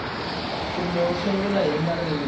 kambe u sungula hi marito